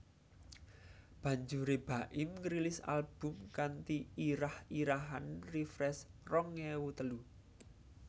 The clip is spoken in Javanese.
Banjuré Baim ngrilis album kanthi irah irahan Refresh rong ewu telu